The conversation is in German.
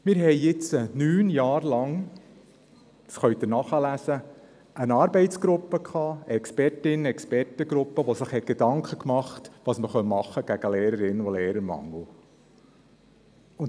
Wir haben jetzt neun Jahre lang – das können Sie nachlesen – eine Expertinnen- und Expertengruppe gehabt, die sich Gedanken dazu machte, was man gegen Lehrerinnen- und Lehrermangel tun könnte.